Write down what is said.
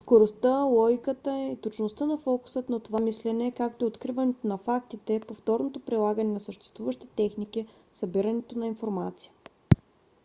скоростта логиката и точността са фокусът на това мислене както и откриването на фактите повторното прилагане на съществуващи техники събирането на информация